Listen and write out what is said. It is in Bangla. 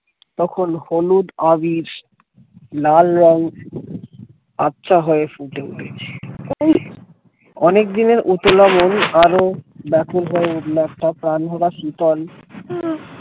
তখন হ্লুদ আবির লাল রং আবছা হয়ে ফুটে উঠেছে অনেকদিনের উতলা মন আরও ব্যাকুল হয়ে উঠল এক টা প্রাণ ভরা শীতল